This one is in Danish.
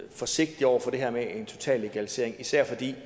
forsigtig over for det her med en total legalisering især fordi